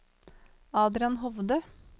Adrian Hovde